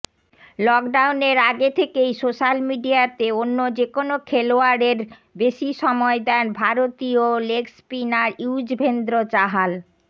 লকডাউনের আগে থেকেই সোশ্যাল মিডিয়াতে অন্য যেকোন খেলোয়াড়ের বেশি সময় দেন ভারতীয় লেগস্পিনার ইয়ুজভেন্দ্র চাহাল